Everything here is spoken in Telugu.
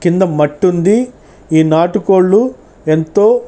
కింద మట్టి ఉంది ఈ నాటు కోళ్లు ఎంతో--